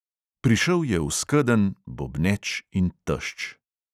Prišel je v skedenj, bobneč in tešč.